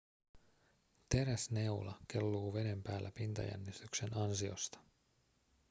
teräsneula kelluu veden päällä pintajännityksen ansiosta